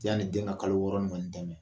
Yani den ka kalo wɔɔrɔ in kɔni tɛmɛ